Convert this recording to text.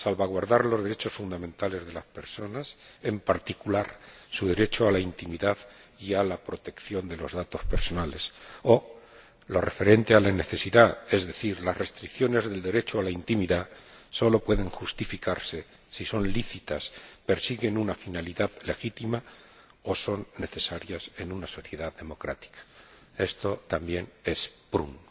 Salvaguardar los derechos fundamentales de las personas, en particular su derecho a la intimidad y a la protección de los datos personales, o lo referente a la necesidad, es decir las restricciones del derecho a la intimidad solo pueden justificarse si son lícitas, persiguen una finalidad legítima o son necesarias en una sociedad democrática. Esto también es Prüm.